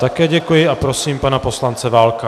Také děkuji a prosím pana poslance Válka.